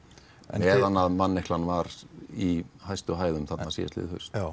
meðan manneklan var í hæstu hæðum þarna síðasta haust